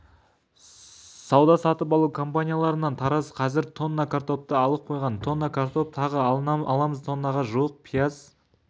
сауда-сатып алу компанияларынан тараз қазір тонна картопты алып қойған тонна картоп тағы аламыз тоннаға жуық пияз